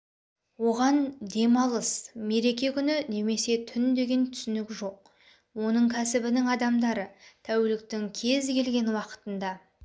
оған демалыс мереке күні немесе түн деген түсінік жоқ оның кәсібінің адамдары тәуліктің кез-келген уақытында